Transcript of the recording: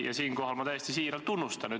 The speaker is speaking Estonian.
Ja siinkohal ma täiesti siiralt tunnustan neid.